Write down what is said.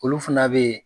Olu fana bɛ yen